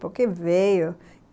Por que veio?